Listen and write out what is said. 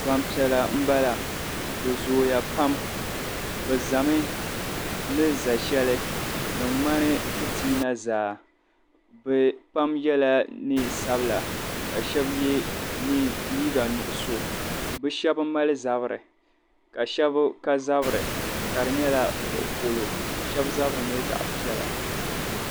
Gbampiɛlla m bala bɛ zooya pam bɛ zami ni za'sheli din ŋmani fitiina zaa bɛ pam yela niɛn'sabila ka sheba ye liiga nuɣuso bɛ shɛba mali zabri ka sheba ka zabri ka di nyɛla zuɣu polo ka sheba zabri nyɛla zaɣa piɛla.